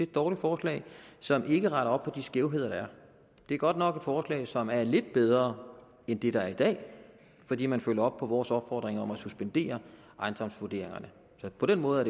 dårligt forslag som ikke retter op på de skævheder der er det er godt nok et forslag som er lidt bedre end det der er i dag fordi man følger op på vores opfordring om at suspendere ejendomsvurderingerne på den måde er